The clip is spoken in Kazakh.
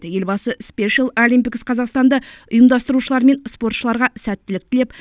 елбасы спешл алимпикс қазақстанды ұйымдастырушылар мен спортшыларға сәттілік тілеп